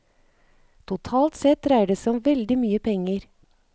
Totalt sett dreier det seg om veldig mye penger.